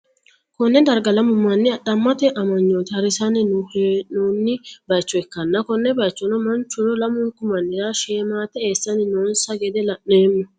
konne darga lamu manni adhammete amanyoote hari'sanni hee'noonni bayicho ikkanna, konne bayichono manchuno lamunku manni'ra sheemate eessanni noonsa gede la'neemmo.